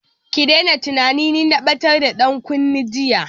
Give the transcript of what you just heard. Ki daina tunanin ni na batar da dankunne jiya!